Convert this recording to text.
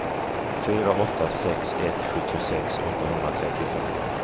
fyra åtta sex ett sjuttiosex åttahundratrettiofem